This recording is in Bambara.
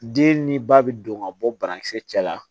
Den ni ba bi don ka bɔ banakisɛ cɛla la